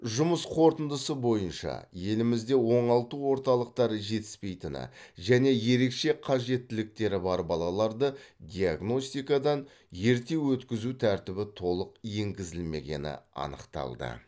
жұмыс қорытындысы бойынша елімізде оңалту орталықтары жетіспейтіні және ерекше қажеттіліктері бар балаларды диагностикадан ерте өткізу тәртібі толық енгізілмегені анықталды